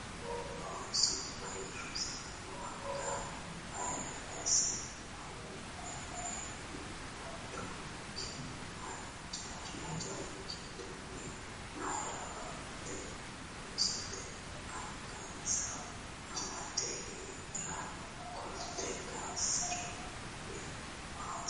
Ooso Woyi rosaano anga maayiira kayiisse noo? Minne gundonikki hijaari giddono mayiira ofoltino oosoti? Angansara amadde iimira qolte kayiissinori maati?